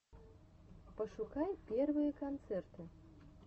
пошукай первые концерты